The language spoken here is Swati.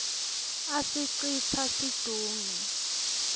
asicitsa situnge